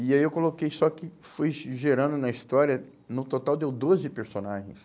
E aí eu coloquei, só que foi ge gerando na história, no total deu doze personagens.